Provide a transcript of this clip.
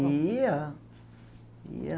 Ia, ia.